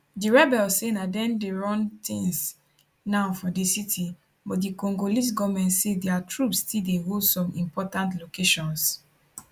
di rebels say na dem dey run tins now for di city but di congolese goment say dia troops still dey hold some important locations